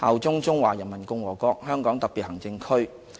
效忠中華人民共和國香港特別行政區"。